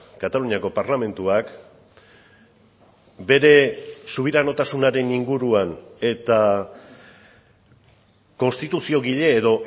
kataluniako parlamentuak bere subiranotasunaren inguruan eta konstituziogile edo